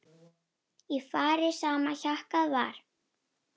Í fari sama hjakkað var.